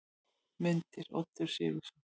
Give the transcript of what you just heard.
Myndir: Oddur Sigurðsson.